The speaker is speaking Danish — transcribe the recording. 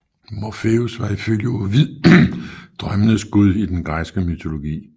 Morfeus var ifølge Ovid drømmenes gud i den græske mytologi